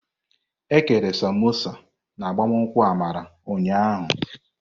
Ekere Samosa n'agbamakwụkwọ Amara ụnyahụ.